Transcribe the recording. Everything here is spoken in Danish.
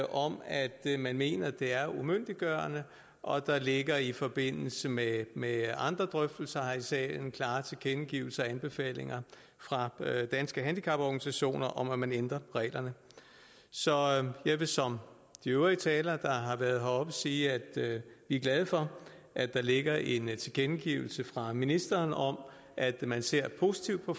om at man mener at det er umyndiggørende og der ligger i forbindelse med med andre drøftelser her i salen klare tilkendegivelser og anbefalinger fra danske handicaporganisationer om at man ændrer reglerne så jeg vil som de øvrige talere der har været heroppe sige at vi er glade for at der ligger en tilkendegivelse fra ministeren om at man ser positivt på